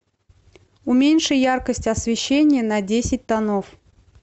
уменьши яркость освещения на десять тонов